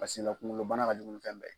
Pasila kungololabana ka jugu ni fɛn bɛɛ ye.